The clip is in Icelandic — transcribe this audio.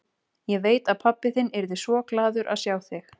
Ég veit að pabbi þinn yrði svo glaður að sjá þig.